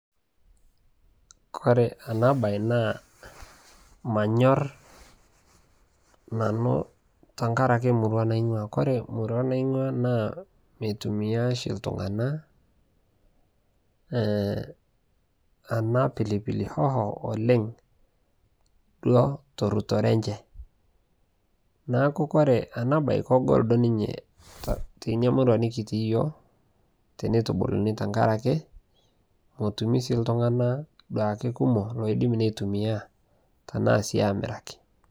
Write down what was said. Kore ena baye naa manyorr nanu tenkaraki emurua naing'uaa, kore emurua naing'uaa naa mitumia oshi iltung'anak ee ena pili pili hoho oleng' duo torutore enye neeku ore ena baye kegol ninye tina murua nikitii iyiook tenitubuluni tenkaraki matumizi oltung'anak duake kumok looidim nitumia tena sii aamiraki.